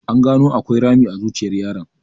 An gano akwai rami a zuciyar yaron.